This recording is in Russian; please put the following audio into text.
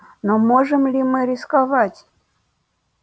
но можем ли мы рисковать